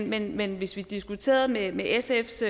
men men hvis vi diskuterede med sfs